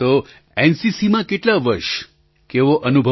તો એનસીસીમાં કેટલા વર્ષ કેવો અનુભવ રહ્યો આપનો